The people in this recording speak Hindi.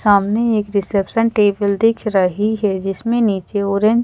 सामने एक रिसेप्शन टेबल दिख रही है जिसमें नीचे ऑरेंज --